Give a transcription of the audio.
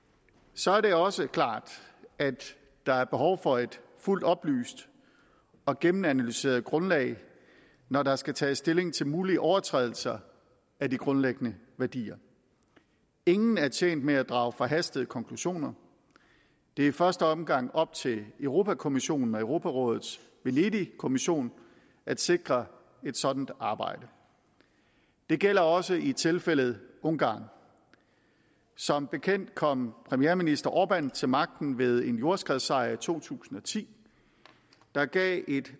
så er det også klart at der er behov for et fuldt oplyst og gennemanalyseret grundlag når der skal tages stilling til mulige overtrædelser af de grundlæggende værdier ingen er tjent med at drage forhastede konklusioner det er i første omgang op til europa kommissionen og europarådets venedigkommission at sikre et sådant arbejde det gælder også i tilfældet ungarn som bekendt kom premierminister orbán til magten ved en jordskredssejr i to tusind og ti der gav